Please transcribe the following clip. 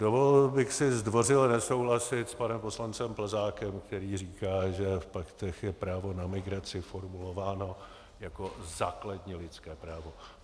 Dovolil bych si zdvořile nesouhlasit s panem poslancem Plzákem, který říká, že v paktech je právo na migraci formulováno jako základní lidské právo.